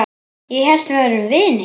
Ég hélt við værum vinir.